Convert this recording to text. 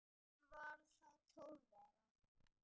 Hún var þá tólf ára.